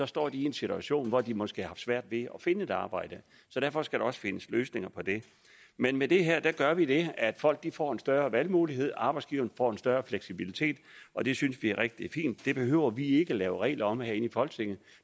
står de i en situation hvor de måske har haft svært ved at finde et arbejde så derfor skal der også findes løsninger på det men med det her gør vi det at folk får en større valgmulighed arbejdsgiveren får en større fleksibilitet og det synes vi er rigtig fint det behøver vi ikke at lave regler om herinde i folketinget